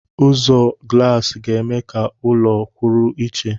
Ụzọ glaasi ga-eme ka ụlọ kwụrụ iche.